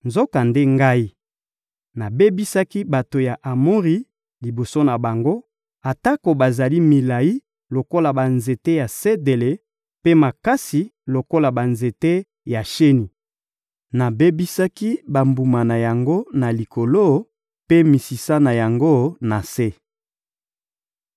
Nzokande, Ngai, nabebisaki bato ya Amori liboso na bango, atako bazali milayi lokola banzete ya sedele mpe makasi lokola banzete ya sheni. Nabebisaki bambuma na yango na likolo, mpe misisa na yango na se.